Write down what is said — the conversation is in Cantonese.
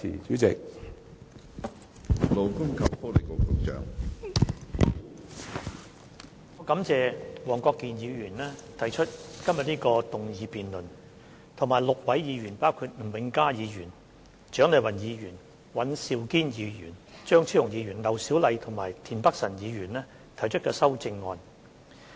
我感謝黃國健議員提出這項議案辯論，以及6位議員，包括吳永嘉議員、蔣麗芸議員、尹兆堅議員、張超雄議員、劉小麗議員和田北辰議員提出的修正案。